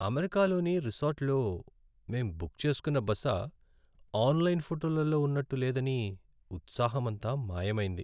అమెరికాలోని రిసార్ట్లో మేం బుక్ చేసుకున్న బస ఆన్లైన్ ఫోటోలలో ఉన్నట్టు లేదని ఉత్సాహమంతా మాయమైంది.